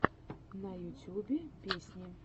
на ютюбе песни